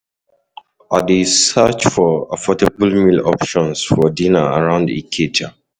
I dey search for affordable meal options for dinner around Ikeja.